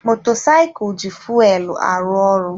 Motosiculu ji fuelu arụ ọrụ.